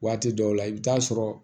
Waati dɔw la i bɛ taa sɔrɔ